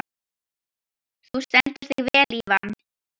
Þú stendur þig vel, Ívan!